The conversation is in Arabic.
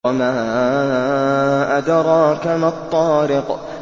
وَمَا أَدْرَاكَ مَا الطَّارِقُ